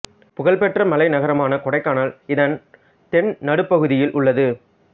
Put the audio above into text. புகழ் பெற்ற மலை நகரமான கொடைக்கானல் இதன் தென் நடுப்பகுதியில் உள்ளது